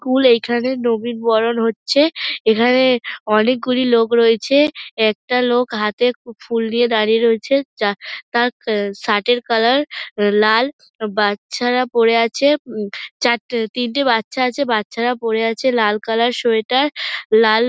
কুল এখানে নবীনবরণ হচ্ছে। এখানে অনেকগুলি লোক রয়েছে। একটা লোক হাতে উম ফুল নিয়ে দাঁড়িয়ে রয়েছে। যার তার শার্ট এর কালার লাল। বাচ্চারা পরে আছে উম চারটে তিনটে বাচ্চা আছে। বাচ্চারা পরে আছে লাল কালার সোয়েটার । লাল--